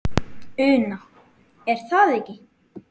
Una: Er það ekki?